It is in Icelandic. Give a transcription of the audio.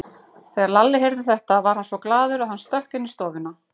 Þegar Lalli heyrði þetta varð hann svo glaður að hann stökk inn í stofuna.